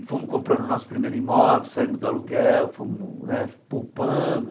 E fomos comprando o nosso primeiro imóvel, saímos do aluguel, fomos né poupando.